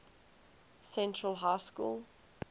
central high school